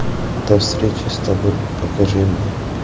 до встречи с тобой покажи мне